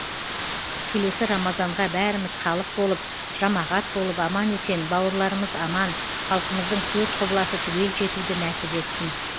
келесі рамазанға бәріміз халық болып жамағат болып аман есен бауырларымыз аман халқымыздың төрт құбыласы түгел жетуді нәсіп етсін